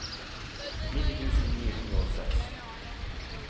nitten tusen ni hundre og seks